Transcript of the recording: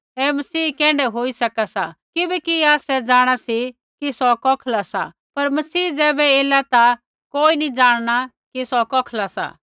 ऐ मसीह कैण्ढै होई सका सा किबैकि आसै जाँणा सी कि सौ कौखला सा पर मसीह ज़ैबै एला ता कोई नी जाणना कि सौ कौखला सा